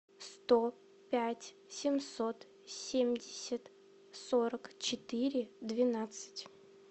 сто пять семьсот семьдесят сорок четыре двенадцать